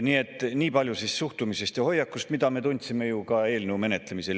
Nii et nii palju suhtumisest ja hoiakust, mida me tundsime ka eelnõu menetlemisel.